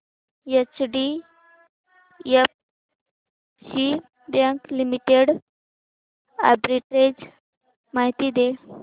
HDFC bank limited arbitrage माहिती दे